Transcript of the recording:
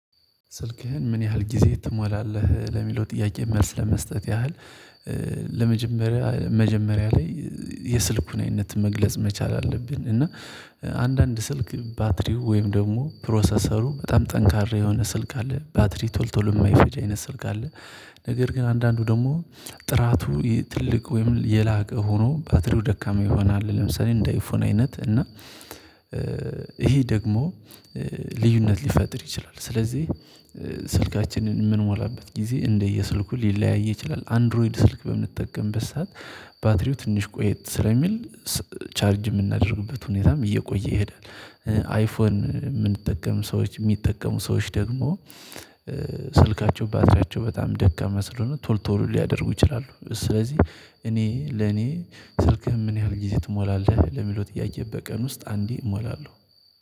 "ስልክህን ምን ያህል ጊዜ ትሞላለህ?" ለሚለው ጥያቄ መልስ ለመስጠት ያህል ለመጀመሪያ መጀመሪያ ላይ የስልኩን አይነት መግለጽ መቻል አለብን፤ እና አንዳንድ ስልክ ባትሪው ወይም ደግሞ ፕሮሰሰሩ በጣም ጠንካራ የሆነ ስልክ አለ ባትሪ ቶል ቶሎ የማይፈጅ አይነት ስልክ አለ። ነገር ግን አንዳንዱ ደግሞ ጥራቱ ትልቅ ወይም የላቀ ሆኖ ባትሪው ደካማ ይሆናል። ለምሳሌ እንደ አይፎን አይነት እና ይሄ ደግሞ ልዩነት ሊፈጥር ይችላል። ስለዚህ ስልካችንን የምንሞላበት ጊዜ እንደየስልኩ ሊለያይ ይችላል። አንድሮይድ ስልክ በምንጠቀምበት ሰዓት ባትሪው ትንሽ ቆየት ስለሚል ቻርጅ የምናደርግበት ሁኔታም እየቆየ ይሄዳል። አይፎን የምንጠቀም ሰዎች የሚጠቀሙ ሰዎች ደግሞ ስልካቸው ባትሪያቸው በጣም ደካማ ስለሆኑ ቶሎ ቶሎ ሊያደርጉ ይችላሉ። ስለዚህ እኔ ለኔ ስልክህን ምን ያህል ጊዜ ትሞላለህ ለሚለው ጥያቄ በቀን ውስጥ አንዴ እሞላለሁ።